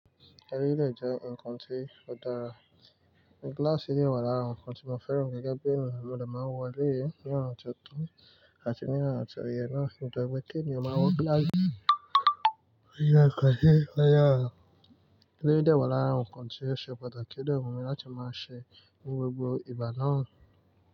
Eleyii dẹ́ je nǹkan tí ó dára. Gíláàsì si wa lara nǹkan tí mo fẹ́ràn gẹ́gẹ́ bí èniyan mo de máa wọ elé yii ní ọ̀na ti ó to àti ní ọ̀na ti ó yẹ náà. Nítorí pé kí èèyàn má wọ gíláàsì, ó jẹ ki a je kí a yà. Eleyii de wa lara àwọn nǹkan tí ó ṣe pàtàkì o de wu mi láti máa ṣe ní gbogbo ìgbà náà.